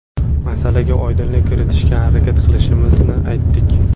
Masalaga oydinlik kiritishga harakat qilishimizni aytdik.